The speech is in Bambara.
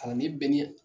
Kalanden bɛɛ ni